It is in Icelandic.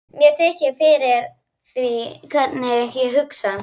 Mér þykir fyrir því hvernig ég hugsaði.